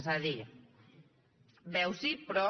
és a dir veu sí però